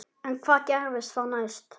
En hvað gerist þá næst?